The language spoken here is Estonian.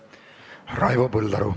Raivo Põldaru.